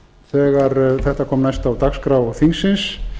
þegar þetta kom næst á dagskrá þingsins